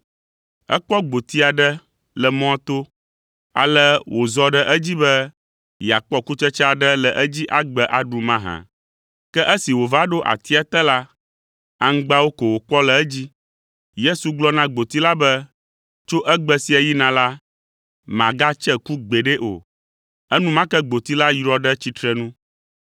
Ekpɔ gboti aɖe le mɔa to, ale wòzɔ ɖe edzi be yeakpɔ kutsetse aɖe le edzi agbe aɖu mahã? Ke esi wòva ɖo atia te la, aŋgbawo ko wòkpɔ le edzi. Yesu gblɔ na gboti la be, “Tso egbe sia yina la, màgatse ku gbeɖe o!” Enumake gboti la yrɔ ɖe tsitrenu.